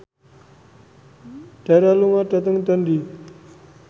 Dara lunga dhateng Dundee